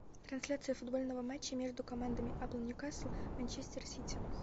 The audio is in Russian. трансляция футбольного матча между командами апл нью касл манчестер сити